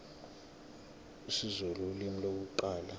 isizulu ulimi lokuqala